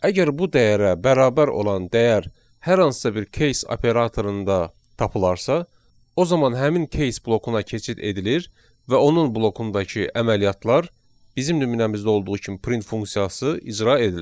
Əgər bu dəyərə bərabər olan dəyər hər hansısa bir case operatorunda tapılarsa, o zaman həmin case blokuna keçid edilir və onun blokundakı əməliyyatlar bizim nümunəmizdə olduğu kimi print funksiyası icra edilir.